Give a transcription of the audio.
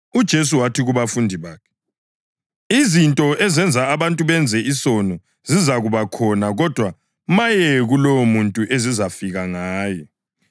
UJesu wathi kubafundi bakhe: “Izinto ezenza abantu benze isono zizakuba khona kodwa maye kulowomuntu ezizafika ngaye.